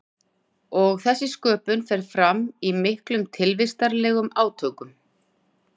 Og þessi sköpun fer fram í miklum tilvistarlegum átökum.